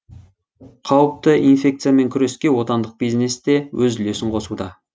қауіпті инфекциямен күреске отандық бизнес те өз үлесін қосуда